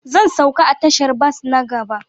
Zan sauka a tashar bas na gaba